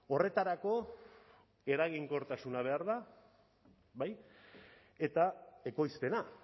horretarako eraginkortasuna behar da bai eta ekoizpena